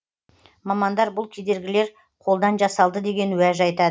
мамандар бұл кедергілер қолдан жасалды деген уәж айтады